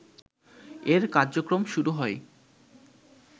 এর কার্যক্রম শুরু হয়